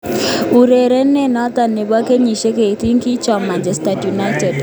Urerenindet noto nebo kenyisiek 18, kichom Manchester United.